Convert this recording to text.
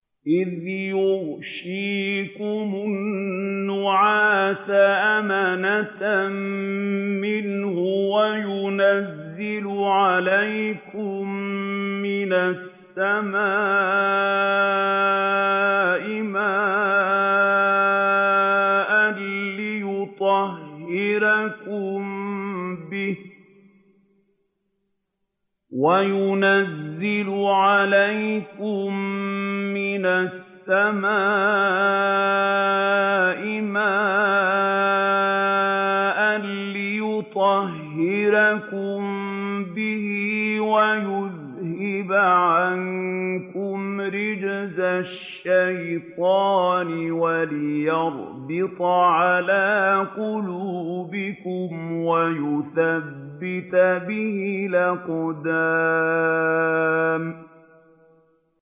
إِذْ يُغَشِّيكُمُ النُّعَاسَ أَمَنَةً مِّنْهُ وَيُنَزِّلُ عَلَيْكُم مِّنَ السَّمَاءِ مَاءً لِّيُطَهِّرَكُم بِهِ وَيُذْهِبَ عَنكُمْ رِجْزَ الشَّيْطَانِ وَلِيَرْبِطَ عَلَىٰ قُلُوبِكُمْ وَيُثَبِّتَ بِهِ الْأَقْدَامَ